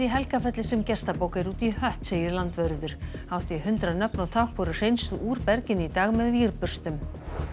í Helgafelli sem gestabók er út í hött segir landvörður hátt í hundrað nöfn og tákn voru hreinsuð úr berginu í dag með vírburstum